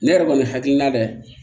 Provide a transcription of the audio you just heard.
Ne yɛrɛ kɔni hakilina dɛ